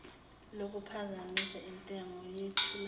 lokuphazamisa intengo yethuluzi